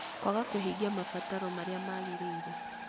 Kwaga kũhingia mabataro marĩa magĩrĩire.